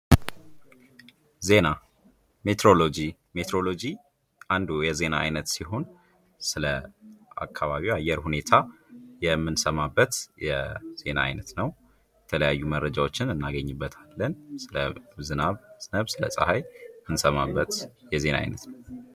ዜና ሜትሮሎጂ ሜትሮሎጂ አንዱ የዜና አይነት ሲሆን ስለ አካባቢ ያየር ሁኔታ የምንሰማበት የዜና አይነት ነው የተለያዩ መረጃዎችን እናገኝበታለን ስለ ዝናብ ስለ ፀሐይ የምንሰማበት የዜና አይነት ነው ::